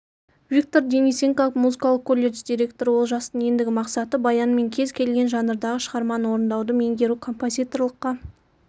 виктор денисенко музыкалық колледж директоры олжастың ендігі мақсаты баянмен кез келген жанрдағы шығарманы орындауды меңгеру композиторлыққа